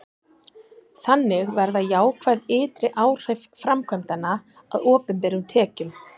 þannig verða jákvæð ytri áhrif framkvæmdanna að opinberum tekjum